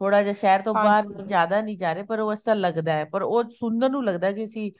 ਥੋੜਾ ਜਾ ਸ਼ਹਿਰ ਤੋਂ ਬਾਹਰ ਜਿਆਦਾ ਨੀ ਜਾ ਰਹੇ ਪਰ ਉਹ ਇਸ ਤਰ੍ਹਾਂ ਲੱਗਦਾ ਪਰ ਉਹ ਸੁਣਨ ਨੂੰ ਲੱਗਦਾ ਕੀ ਅਸੀਂ